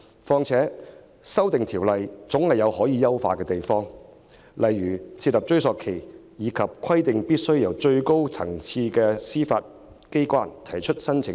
再者，《逃犯條例》的修訂總有可以優化之處，例如設立追溯期及規定必須由最高層次的司法機關提出申請等。